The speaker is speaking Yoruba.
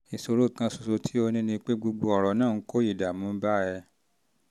ìṣòro kan ṣoṣo tó o ní ni pé gbogbo ọ̀rọ̀ náà ń kó ìdààmú bá ẹ